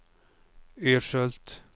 Ödskölt